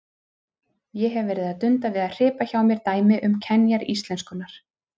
Ég hef verið að dunda við að hripa hjá mér dæmi um kenjar íslenskunnar.